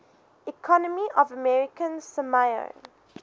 economy of american samoa